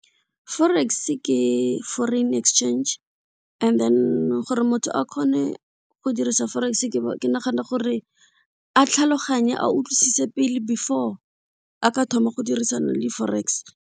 Forex ke foreign exchange and then gore motho a kgone go dirisa forex ke nagana gore a tlhaloganye, a utlwise pele before a ka thoma go dirisana le forex.